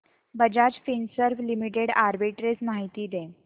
Bajaj Finserv limited arbitrage माहिती दे